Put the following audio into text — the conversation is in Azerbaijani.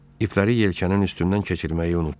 İpləri yelkənin üstündən keçirməyi unutdun.